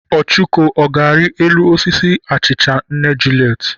Ọchụko, ọ ga-arị elu osisi achịcha nna Juliet?